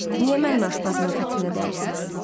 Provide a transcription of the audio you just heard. Niyə mənim aşpazımın xətrinə dəyirsiz?